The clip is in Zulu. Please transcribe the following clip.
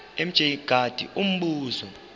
mj mngadi umbuzo